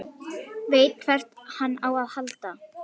Veit hvert hann á að halda.